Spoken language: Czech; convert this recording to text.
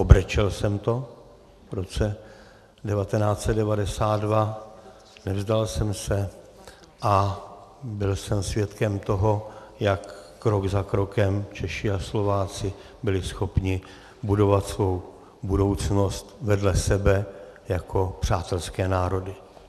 Obrečel jsem to v roce 1992, nevzdal jsem se a byl jsem svědkem toho, jak krok za krokem Češi a Slováci byli schopni budovat svou budoucnost vedle sebe jako přátelské národy.